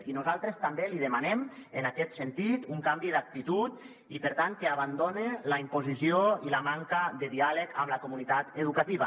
i nosaltres també li demanem en aquest sentit un canvi d’actitud i per tant que abandone la imposició i la manca de diàleg amb la comunitat educativa